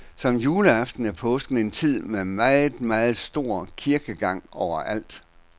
Som juleaften er påsken en tid med meget, meget stor kirkegang overalt.